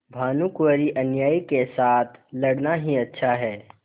भानुकुँवरिअन्यायी के साथ लड़ना ही अच्छा है